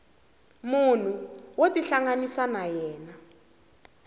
munhu wo tihlanganisa na yena